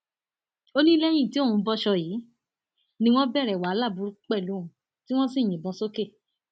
ó ní lẹyìn tí òun bọṣọ yìí ni wọn bẹrẹ wàhálà burúkú pẹlú òun tí wọn sì yìnbọn sókè